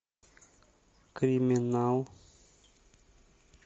криминал